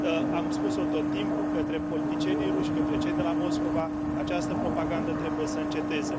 Am spus o tot timpul către politicienii ruși, către cei de la Moscova această propagandă trebuie să înceteze.